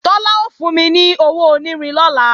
Tọ́lá ó fún mi ní owó onírin lọ́la